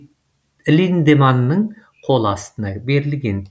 линдеманның қол астына берілген